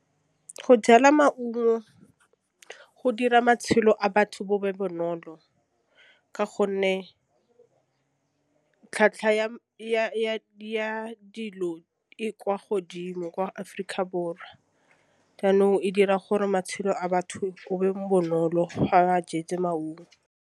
Go jala maungo go dira matšhelo a batho bo be bonolo ka gonne tlhwatlhwa ya dilo e kwa godimo kwa Aforika Borwa, jaanong e dira gore matšhelo a batho o be bonolo ga ba jetse maungo.